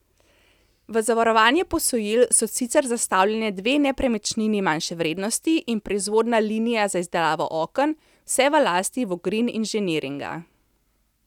V zavarovanje posojil so sicer zastavljene dve nepremičnini manjše vrednosti in proizvodna linija za izdelavo oken, vse v lasti Vogrin Inženiringa.